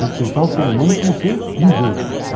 Respeitar o ser humano como ser vivente.